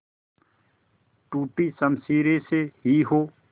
टूटी शमशीरें से ही हो